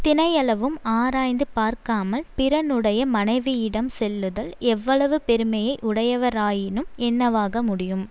தினையளவும் ஆராய்ந்து பார்க்காமல் பிறனுடைய மனைவியிடம் செல்லுதல் எவ்வளவு பெருமையை உடையவராயினும் என்னவாக முடியும்